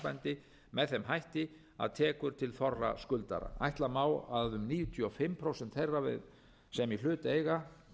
í þessu sambandi með þeim hætti að tekur til þorra skuldara ætla má að um níutíu og fimm prósent þeirra sem í hlut eiga